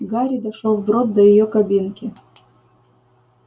гарри дошёл вброд до её кабинки